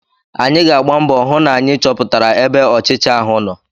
Anyị ga-agba mbọ hụ na anyị chọpụtara ebe ọchịcha ahụ nọ.